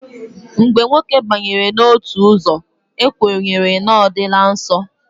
Mgbe nwoke banyere n'otu ọzọ, e kwenyere na ọ dịla nsọ.